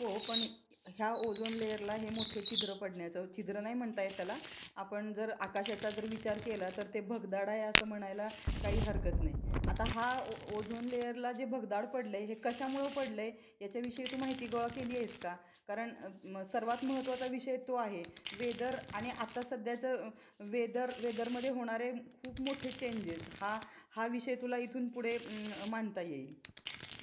हो पण या ओझोन लेअरला हे मोठे छिद्र पडण्याचा, छिद्र नाही म्हणत येत त्याला आपण जर आकाशाचा जर विचार केला तर ते भगदाड आहे असे म्हणायला काही हरकत नाही आता ह्या ओझोन लेअरला हे भगदाड पडलाय हे कशामुळे पडले याच्या विषयी तू माहिती गोळा केली आहेस का? करण सर्वात महत्त्वाचा विषय तो आहे वेदर आणि आता सध्याचा वेदर, वेदर मध्ये होणारे खूप मोठे चेंजेस हा हा विषय तुला इथून पुढे मानता येईल.